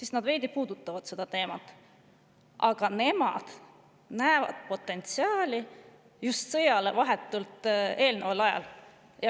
Seal veidi puudutatakse seda teemat, aga Rail Balticu potentsiaali nähakse just sõjale vahetult eelneval ajal.